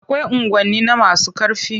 Akwai unguwanni na masu ƙarfi.